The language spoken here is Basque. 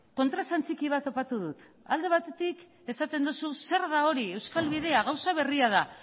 kontraesan txiki bat topatu dut alde batetik esaten duzu zer da hori euskal bidea gauza berria da